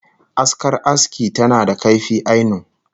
Askar aski tana da kaifi ainun